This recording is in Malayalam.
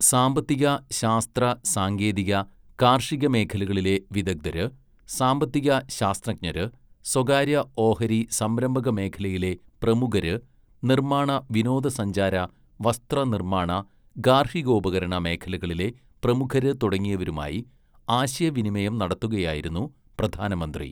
സാമ്പത്തിക, ശാസ്ത്ര സാങ്കേതിക, കാർഷിക മേഖലകളിലെ വിദഗ്ധര് , സാമ്പത്തിക ശാസ്ത്രജ്ഞര്, സ്വകാര്യ ഓഹരി സംരംഭകമേഖലയിലെ പ്രമുഖര് നിർമ്മാണ വിനോദസഞ്ചാര, വസ്ത്ര നിർമ്മാണ, ഗാർഹികോപകരണ മേഖലകളിലെ പ്രമുഖര് തുടങ്ങിയവരുമായി ആശയവിനിമയം നടത്തുകയായിരുന്നു പ്രധാനമന്ത്രി.